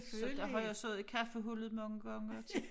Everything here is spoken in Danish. Så der har jeg siddet i kaffehullet mange gange og